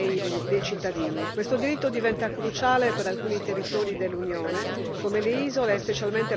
Questo diritto diventa cruciale per alcuni territori dell'Unione come le isole, e specialmente la Sardegna e la Sicilia.